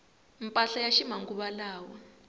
mpahla ya ximanguvalawa